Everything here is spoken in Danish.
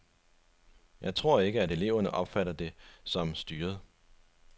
Jeg tror ikke, at eleverne opfatter det som styret.